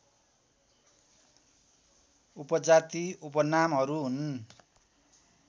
उपजाति उपनामहरू हुन्